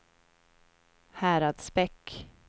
Häradsbäck